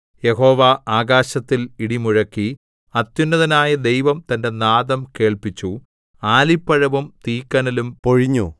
യഹോവ ആകാശത്തിൽ ഇടി മുഴക്കി അത്യുന്നതനായ ദൈവം തന്റെ നാദം കേൾപ്പിച്ചു ആലിപ്പഴവും തീക്കനലും പൊഴിഞ്ഞു